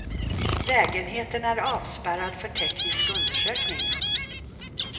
Lägenheten är avspärrad för teknisk undersökning.